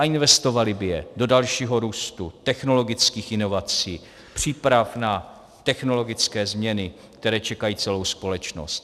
A investovali by je do dalšího růstu, technologických inovací, příprav na technologické změny, které čekají celou společnost.